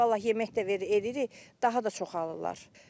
Vallah yemək də veririk, daha da çoxalırlar.